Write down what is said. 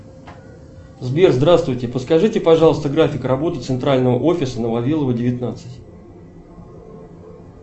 сбер здравствуйте подскажите пожалуйста график работы центрального офиса на вавилова девятнадцать